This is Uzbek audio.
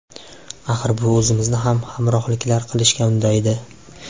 Axir, bu o‘zimizni ham qahramonliklar qilishga undaydi.